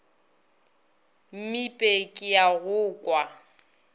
mmipe ke a go kwa